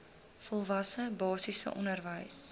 volwasse basiese onderwys